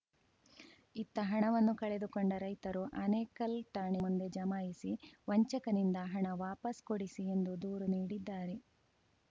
ಇತ್ತ ಹಣವನ್ನು ಕಳೆದುಕೊಂಡ ರೈತರು ಆನೇಕಲ್‌ ಠಾಣೆಯ ಮುಂದೆ ಜಮಾಯಿಸಿ ವಂಚಕನಿಂದ ಹಣ ವಾಪಸ್‌ ಕೊಡಿಸಿ ಎಂದು ದೂರು ನೀಡಿದ್ದಾರೆ